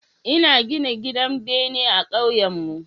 Ina gina gidan bene ah kauyenmu